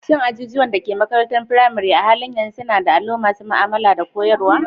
Shin ajujuwan da ke makarantar firamare a halin yanzu suna da allo masu ma'amala da koyarwa?